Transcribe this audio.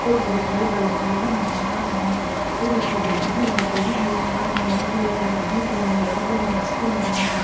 और बहुत बड़े बड़े पेड़ भी नजर आ रहे हैं और ऊपर जलती हुई लाइटें भी नजर आ रही हैं और एक ला आदमी के मुँह में लगा हुआ माकस भी नजर आ रहा है।